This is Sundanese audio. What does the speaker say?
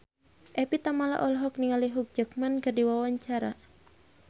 Evie Tamala olohok ningali Hugh Jackman keur diwawancara